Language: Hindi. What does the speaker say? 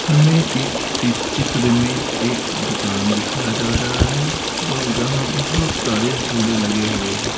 हमें इस त चित्र में एक दुकान दिखाया जा रहा है जहां बहुत सारे झूले लगे हुए हैं।